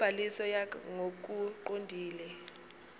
nobhaliso yakh ngokuqondile